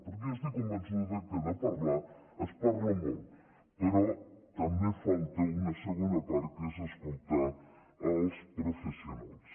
perquè jo estic convençuda que de parlar es parla molt però també falta una segona part que és escoltar els professionals